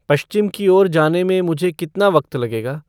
पश्चिम की ओर जाने में मुझे कितना वक़्त लगेगा